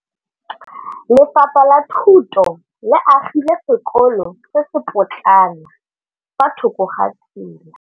Lefapha la Thuto le agile sekôlô se se pôtlana fa thoko ga tsela.